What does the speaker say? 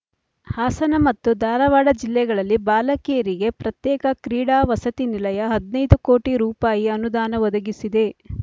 ಹಾಸನ ಮತ್ತು ಧಾರಾವಾಡ ಜಿಲ್ಲೆಗಳಲ್ಲಿ ಬಾಲಕಿಯರಿಗೆ ಪ್ರತ್ಯೇಕ ಕ್ರೀಡಾ ವಸತಿ ನಿಲಯ ಹದಿನೈದು ಕೋಟಿ ರೂಪಾಯಿ ಅನುದಾನ ಬದಗಿಸಿದ